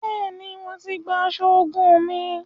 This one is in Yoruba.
Bẹẹni, Mó tí gbà aṣọ ogún mí